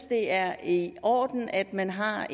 det er i orden at man har